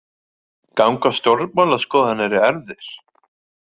Ganga stjórnmálaskoðanir í erfðir?